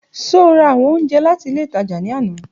Ṣe o ra awọn ounjẹ lati ile itaja ni ana?